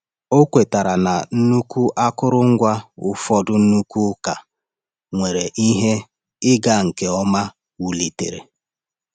Ọ kwetara na nnukwu akụrụngwa ụfọdụ nnukwu ụka nwere ihe ịga nke ọma wulitere.